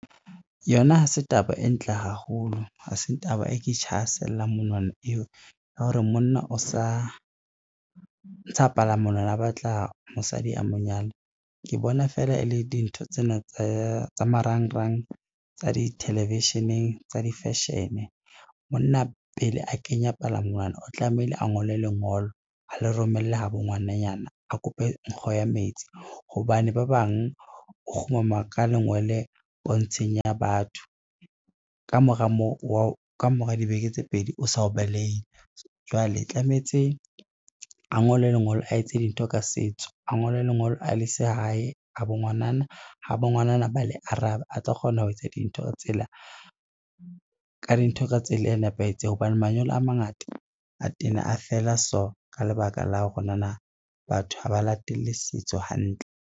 Yona ha se taba e ntle haholo, ha se taba e ke monwana eo ya hore monna o sa ntsha palamonwana, a batla mosadi a mo nyale ke bona feela e le dintho tsena tsa marangrang, tsa di-television-eng, tsa di-fashion. Monna pele a kenya palamonwana, o tlameile a ngole lengolo, a le romelle ha bo ngwananyana, a kope nkgo ya metsi, hobane ba bang o kgumama ka lengwele pontsheng ya batho, ka mora dibeke tse pedi o sa o baleile, jwale tlamehetse a ngole lengolo a etse dintho ka setso, a ngole lengolo a le se hae, ha bo ngwanana, ha bo ngwanana ba le arabe, a tlo kgona ho etsa ka dintho ka tsela e nepahetseng hobane manyalo a mangata a tena a fela so ka lebaka la hore nana batho ha ba latele setso hantle.